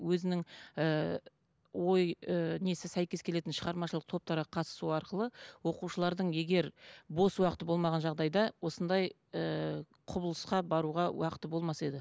өзінің ыыы ой ы несі сәйкес келетін шығармашылық топтарға қатысу арқылы оқушылардың егер бос уақыты болмаған жағдайда осындай ыыы құбылысқа баруға уақыты болмас еді